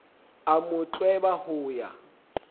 a mo tlweba ho ya